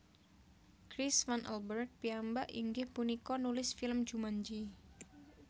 Chris Van Allbrug piyambak inggih punika nulis film Jumanji